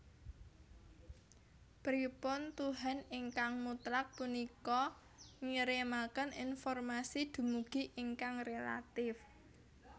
Pripun tuhan ingkang mutlak punika ngirimaken informasi dumugi ingkang relatif